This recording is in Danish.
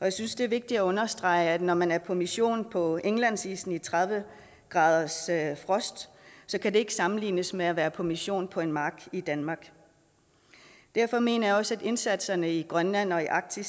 jeg synes det er vigtigt at understrege at når man er på mission på indlandsisen i tredive graders frost kan det ikke sammenlignes med at være på mission på en mark i danmark derfor mener jeg også at indsatserne i grønland og arktis